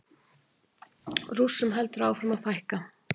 Rússum heldur áfram að fækka